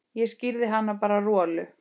Ég skíri hann bara Rolu.